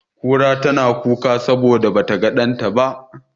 Kura tana kuka saboda ba ta ga ɗanta ba.